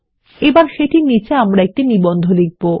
এবং সেটির নীচে আমরা একটি নিবন্ধ লিখব